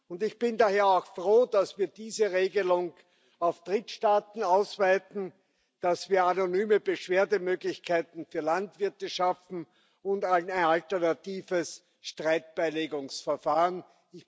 Und ich bin daher auch froh, dass wir diese Regelung auf Drittstaaten ausweiten, dass wir anonyme Beschwerdemöglichkeiten für Landwirte und ein alternatives Streitbeilegungsverfahren schaffen.